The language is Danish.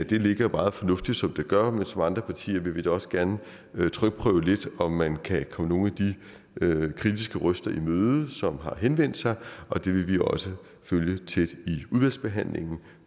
det ligger meget fornuftigt som det gør men som andre partier vil vi da også gerne trykprøve lidt om man kan komme nogle af de kritiske røster i møde som har henvendt sig det vil vi også følge tæt i udvalgsbehandlingen